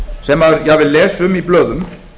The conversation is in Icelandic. sem maður jafnvel les um í blöðum